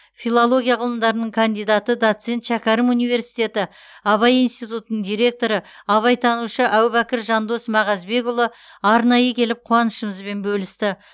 филология ғылымдарының кандидаты доцент шәкәрім университеті абай институтының директоры абайтанушы әубәкір жандос мағазбекұлы арнайы келіп қуанышымызбен бөлісті